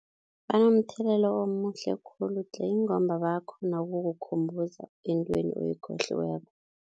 Banomthelela omuhle khulu tle ingomba bayakghona ukukukhumbuza entweni oyikhohliweko.